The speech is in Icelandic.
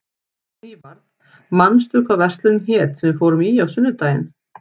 Nývarð, manstu hvað verslunin hét sem við fórum í á sunnudaginn?